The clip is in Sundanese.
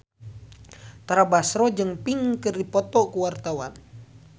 Tara Basro jeung Pink keur dipoto ku wartawan